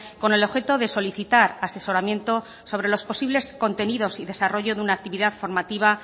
con el objeto de solicitar asesoramiento sobre los posibles contenidos y desarrollo de una actividad formativa